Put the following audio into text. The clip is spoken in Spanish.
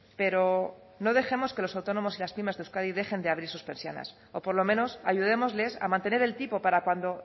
pero no dejemos que los autónomos y las pymes de euskadi dejen de abrir sus persianas o por lo menos ayudémosles a mantener el tipo para cuando